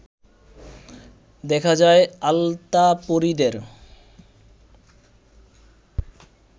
দেখা যায় আলতাপরিদের